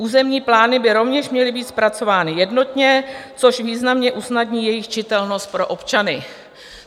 Územní plány by rovněž měly být zpracovány jednotně, což významně usnadní jejich čitelnost pro občany.